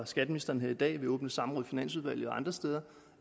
skatteministeren her i dag i åbne samråd i finansudvalget og andre steder